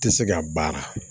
Tɛ se ka baara